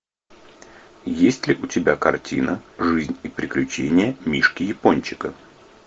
есть ли у тебя картина жизнь и приключения мишки япончика